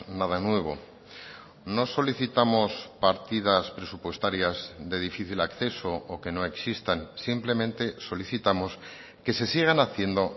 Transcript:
nada nuevo no solicitamos partidas presupuestarias de difícil acceso o que no existan simplemente solicitamos que se sigan haciendo